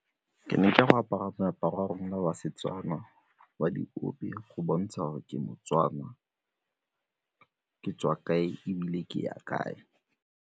Ke ne ke a go apara moaparo wa rona wa Setswana wa diope go bontsha gore ke moTswana, ka tswa kae ebile ke ya kae.